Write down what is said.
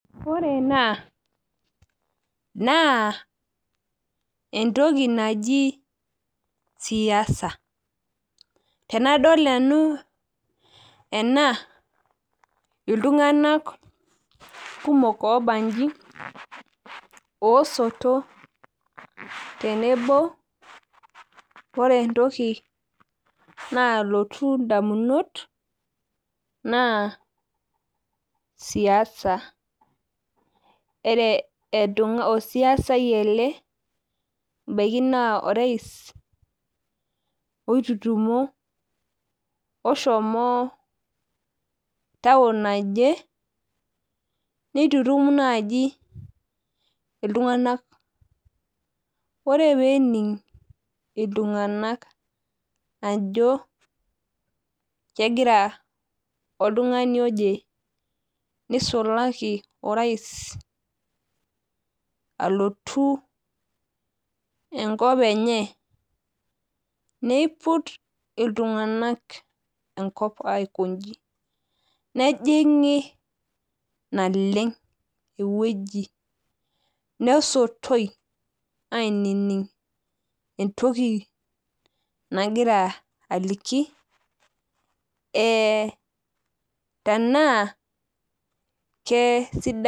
Ore ena naa entoki naji sia. Tenadol nanu ena iltung'anak kumok oobanji oosoto. Ore entoki naalotu indamunot, naa siasa, olsiasai ele, ebaiki naa orais ele oitutumo oshomo taun naje, neitutum naaji iltung'anak. Ore pee ening' iltung'anak ajo egira oltung'ani oje neisulaki orais alotu enkop enye neiput iltung'anak enkop aikonji, nejing'i naleng' ewueji nesotoi ainining' entoki nagira aliki tanaa keisidai.